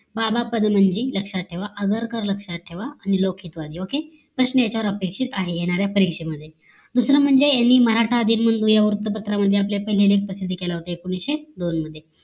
बाबा पदमनजी लक्षात ठेवा आगरकर लक्षात ठेवा आणि लौकिक वादि okay प्रश्न याच्यावर अपेक्षित आहे येणाऱ्या परीक्षेमध्ये. दुसरं म्हणजे यांनी मराठा दीनबंधू या वृत्तपत्रामध्ये आपला पहिला लेख प्रसिद्ध केला होता एकोणीशे दोन मध्ये